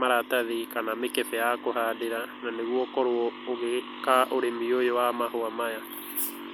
maratathi kana mikebe ya kũhandĩra na nĩguo ũkorũo ũgĩka ũrĩmi ũyũ wa mahũa maya.